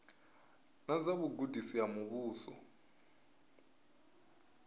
na dza vhugudisi ha muvhuso